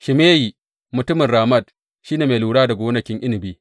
Shimeyi mutumin Ramat shi ne mai lura da gonakin inabi.